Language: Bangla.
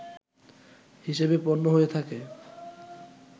হিসেবে গণ্য হয়ে থাকে